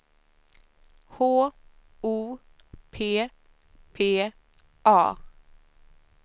H O P P A